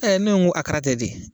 ne ko araka tɛ de ?